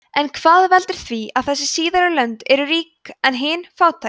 en hvað veldur því að þessi síðari lönd eru rík en hin fátæk